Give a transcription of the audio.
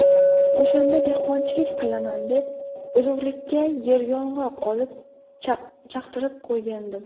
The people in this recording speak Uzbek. O‘shanda dehqonchilik qilaman deb urug‘likka yeryong‘oq olib, chaqtirib qo‘ygandim.